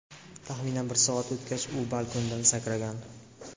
Taxminan bir soat o‘tgach u balkondan sakragan.